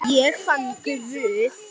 Ég fann Guð.